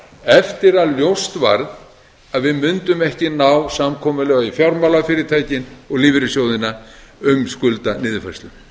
eftir að ljóst varð að við mundum ekki ná samkomulagi við fjármálafyrirtækin og lífeyrissjóðina um skuldaniðurfærslu